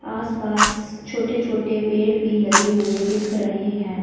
आस पास छोटे छोटे पेड़ भी लगे हुए दिख रहे हैं।